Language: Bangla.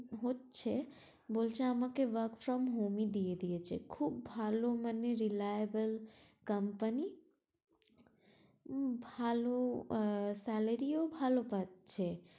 হচ্ছে বলছে বলছে আমাকে work from home ই দিয়ে দিয়েছে খুব ভালো মানে reliable company ওখানে তো সবাই মানে উম ভালো আহ salary ভালো পাচ্ছে